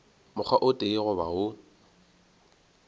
mokgwa o tee goba wo